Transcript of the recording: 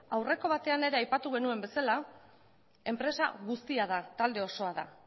aurreko batean ere aipatu genuen bezala enpresa guztia da talde osoa da